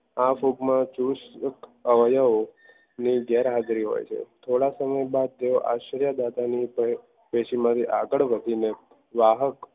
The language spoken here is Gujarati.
આ ભૂખમાં જ્યુસ અવયવ ની ગેરહાજરી હોય છે થોડાક સમય બાદ તેઓ આશ્ચર્ય દાદાની કેસી માં થી આગળ વધીને વાહક